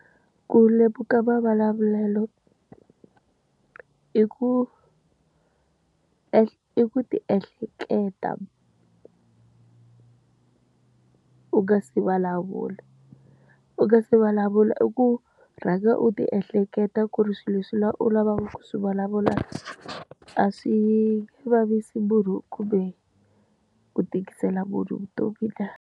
Ku lemuka mavulavulelo. I ku i ku ti ehleketa u nga se vulavula. U nga se vulavula i ku rhanga u ti ehleketa ku ri swilo leswi u lavaka ku swi vulavula, a swi nge vavisi munhu kumbe ku tikisela munhu vutomi na.